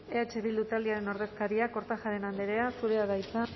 eh bildu taldearen ordezkaria kortajarena andrea zurea da hitza